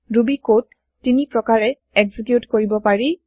Ruby code ৩ প্ৰকাৰে execute কৰিব পাৰি